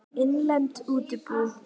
Innlend útibú.